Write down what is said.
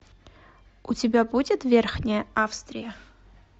у тебя будет верхняя австрия